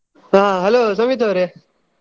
ಹಾ hello ಸಮಿತ್ ಅವ್ರೆ.